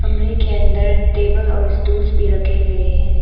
कमरे के अंदर टेबल और स्टूल्स भी रखे गए हैं।